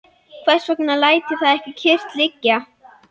Hvers vegna læt ég það ekki kyrrt liggja?